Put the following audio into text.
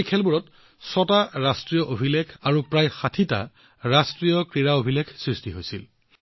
এই খেলসমূহত ছয়টা ৰাষ্ট্ৰীয় অভিলেখ আৰু প্ৰায় ৬০টা ৰাষ্ট্ৰীয় ক্ৰীড়া ৰেকৰ্ডো সৃষ্টি হৈছে